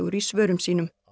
í svörum sínum